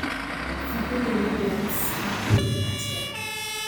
fadhili Williams akuĩre atĩa